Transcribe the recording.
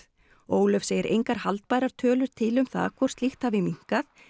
Ólöf segir engar haldbærar tölur til um það hvort slíkt hafi minnkað